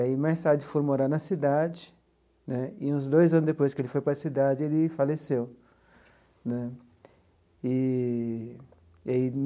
Aí, mais tarde, foi morar na cidade né e, uns dois anos depois que ele foi para a cidade, ele faleceu eee.